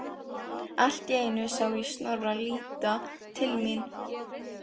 Allt í einu sá ég Snorra líta til mín.